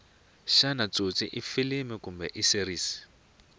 shana tsotsi ifilimu kumbe iseries